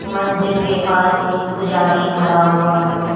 मंदिर के पास एक पुजारी खड़ा हुआ है।